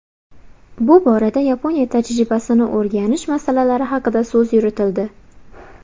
Bu borada Yaponiya tajribasini o‘rganish masalalari haqida so‘z yuritildi.